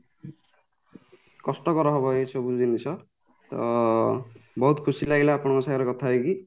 କଷ୍ଟକର ହବ ଏ ସବୁ ଜିନିଷ ତ ବହୁତ ଖୁସି ଲାଗିଲା ଆପଣଙ୍କ ସାଙ୍ଗରେ କଥା ହେଇକି